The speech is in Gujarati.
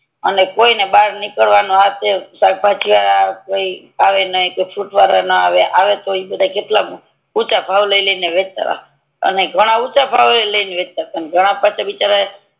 અને કોઈ ને બાર નિકડવા ના ડે સકભાજી આવી એ ના કે ફ્રૂટ વડો આવે ના આવે તો ઈ બધા કેટલા ઊંચા ભાવ લઈ લઈ ને આવે અને ઘણા ઊંચા ભાવે ઈ લઈને વેચતા ઘણા પછી બિચારા